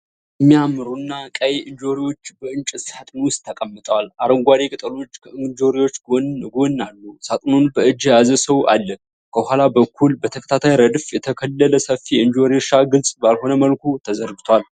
የሚያማምሩና ቀይ እንጆሪዎች በእንጨት ሳጥን ውስጥ ተቀምጠዋል፣ አረንጓዴ ቅጠሎች ከእንጆሪዎቹ ጎን ጎን አሉ። ሳጥኑን በእጅ የያዘ ሰው አለ። ከኋላ በኩል በተከታታይ ረድፍ የተተከለ ሰፊ የእንጆሪ እርሻ ግልጽ ባልሆነ መልኩ ተዘርግቷል።